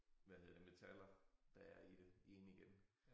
Hvad hedder det metaller der er i det ind igen